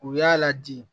U y'a ladi